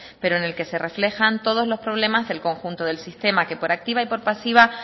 pero en el que se reflejan todos problemas del conjunto del sistema que por activa y por pasiva